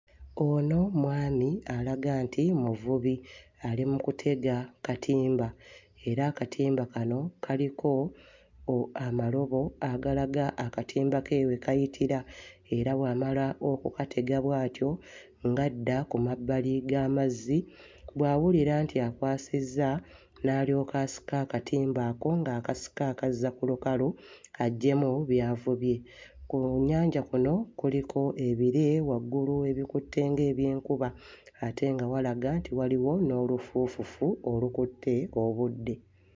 Ono mwami alaga nti muvubi ali mu kutega katimba era akatimba kano kaliko oh amalobo agalaga akatimba ke we kayitira era w'amala okukatega bw'atyo ng'adda ku mabbali g'amazzi, bw'awulira nti akwasizza n'alyoka asika akatimba ako ng'akasika akazza ku lukalu aggyemu by'avubye. Ku nnyanja kuno kuliko ebire waggulu ebikutte ng'ebyenkuba ate nga walaga nti waliwo n'olufuufufu olukutte obudde.